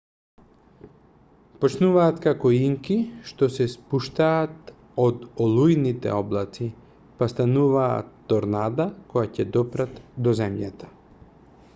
почнуваат како инки што се спуштаат од олујните облаци па стануваат торнада кога ќе допрат до земјата